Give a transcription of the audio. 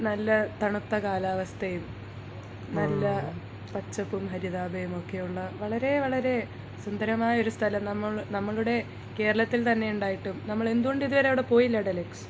നല്ല തണുത്ത കാലാവസ്ഥയും നല്ല പച്ചപ്പും ഹരിതാഭയും ഒക്കെയുള്ള വളരെ വളരെ സുന്ദരമായ ഒരു സ്ഥലം നമ്മളു നമ്മുടെ കേരളത്തിൽ തന്നെ ഇണ്ടായിട്ടും നമ്മൾ എന്തുകൊണ്ട് ഇതുവരെ പോയില്ല ടെലക്സ്?